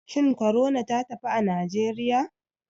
Shin corona ta tafi a nigeriya?